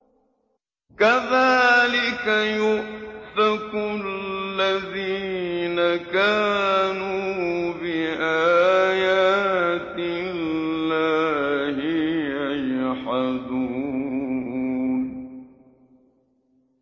كَذَٰلِكَ يُؤْفَكُ الَّذِينَ كَانُوا بِآيَاتِ اللَّهِ يَجْحَدُونَ